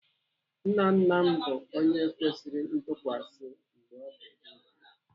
Nna nna m bụ onye kwesịrị ntụkwasị mgbe ọ dị ndụ.